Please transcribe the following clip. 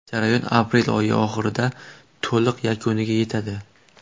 Jarayon aprel oyi oxirida to‘liq yakuniga yetadi.